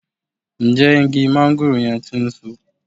Ǹjẹ́ igi máńgòrò yẹn ti ń so?